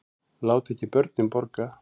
Láti ekki börnin borga